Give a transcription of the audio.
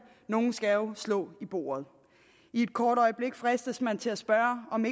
nogen skal jo slå i bordet et kort øjeblik fristes man til at spørge om